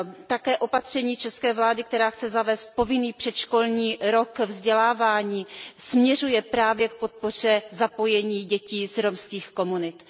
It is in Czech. Také opatření české vlády, která chce zavést povinný předškolní rok vzdělávání, směřuje právě k podpoře zapojení dětí z romských komunit.